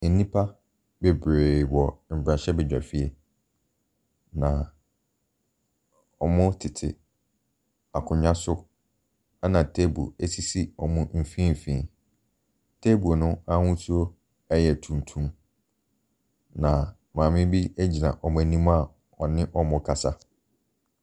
Nnipa bebree wɔ mmarahyɛbadwafie. Na wɔtete akonnwa so na table sisi wɔn mfinimfini. Table no n'ahosu yɛ tuntum. Na maame bi gyina wɔn anim a ɔne wɔrekasa.